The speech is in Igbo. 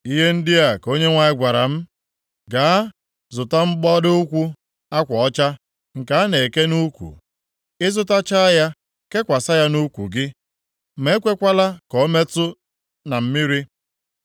Ihe ndị a ka Onyenwe anyị gwara m, “Gaa, zụta mgbado ukwu akwa ọcha nke a na-eke nʼukwu. Ị zụtachaa ya, kekwasị ya nʼukwu gị. Ma ekwekwala ka o metụ na mmiri.”